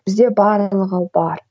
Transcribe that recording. бізде барлығы бар